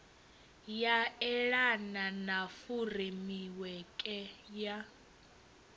ya elana na furemiweke ya